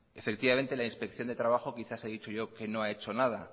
la inspección de trabajo quizás he dicho yo que no ha hecho nada